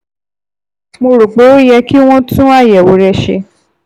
Mo rò pé ó yẹ kí wọ́n tún àyẹ̀wò rẹ ṣe